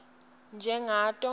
njengato